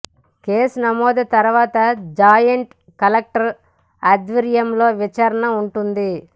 case నమోదు తర్వాత joint collector ఆధ్వర్యంలో విచారణ ఉంటుంది